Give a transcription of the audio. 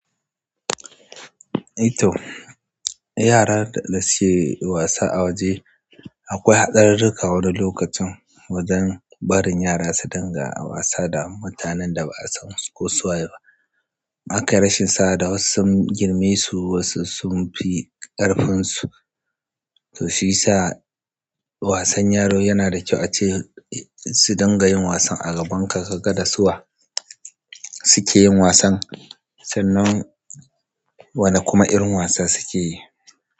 To yara da suke wasa a waje akwai hatsarirrika wani lokacin wajan barin yara su dinga wasa da mutanen da ba'a san su ko su waye ba. Akai rashin sa'a wasu sun girme su wasu sun fi ƙarfinsu. To shiyasa wasan yaro yana da kyau ace su dinga yin wasan a gaban ka, kaga da su wa suke yin wasan sannan wani kuma irin wasan suke yi.